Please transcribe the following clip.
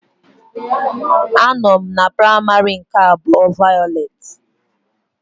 Anọ m na Praimari nke abuo vayolet.